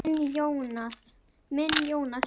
Þinn, Jóhann.